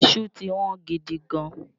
Iṣu ti Wọ́n gidigan